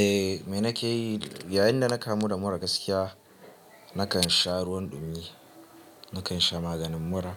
Eh, me nake yi yayin da nake mura mura gaskiya, nakan sha ruwan ɗumi, nakan sha maganin mura,